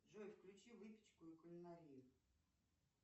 джой включи выпечку и кулинарию